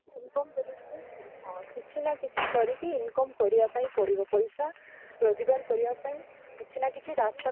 କରିକି income କରିବା ପାଇଁ ହଁ କିଛି ନା କିଛି ଅକରିକି income କରିବା ପାଇଁ ପଡିବ ପଇସା ରୋଜଗାର କରିବା ପାଇଁ କିଛି ନା କିଛି ରାସ୍ତା